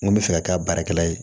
N ko bɛ fɛ ka kɛ a baarakɛla ye